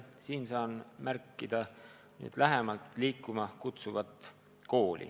Saan siin jälle märkida programmi "Liikuma kutsuv kool".